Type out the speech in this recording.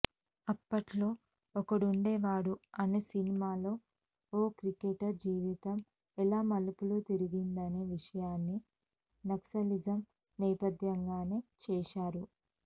అప్పట్లో ఒక్కడుండేవాడు అనే సినిమాలో ఓ క్రికెటర్ జీవితం ఎలా మలుపు తిరిగిందనే విషయాన్ని నక్సలిజం నేపథ్యంగానే చేశారు